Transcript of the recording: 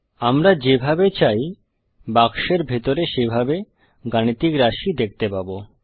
আমরা যেভাবে চাই বাক্সের ভিতরে সেভাবে গাণিতিক রাশি দেখতে পাবো